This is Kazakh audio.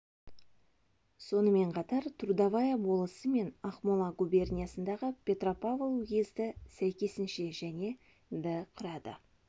сонымен қатар трудовая болысы мен ақмола губерниясындағы петропавл уезді сәйкесінше және ды құрады